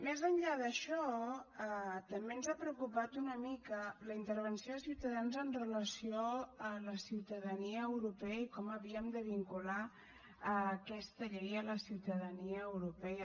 més enllà d’això també ens ha preocupat una mica la intervenció de ciutadans amb relació a la ciutadania europea i com havíem de vincular aquesta llei a la ciutadania europea